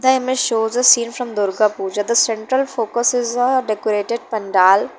The images shows a scene from durga pooja the central focus is a decorated pandal.